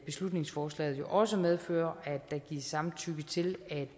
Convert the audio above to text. beslutningsforslaget jo også medfører at der gives samtykke til at